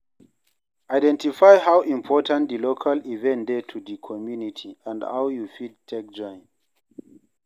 Identify how important di local event dey to di community and how you fit take join